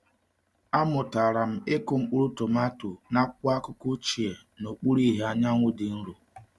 Amụtara m ịkụ mkpụrụ tomato n’akwụkwọ akụkọ ochie n’okpuru ìhè anyanwụ dị nro.